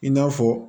I n'a fɔ